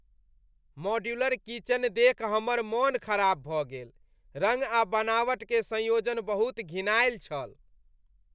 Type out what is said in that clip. Modular kitchen देखि हमर मन खराब भऽ गेल। रङ्ग आ बनावट के संयोजन बहुत घिनायल छल।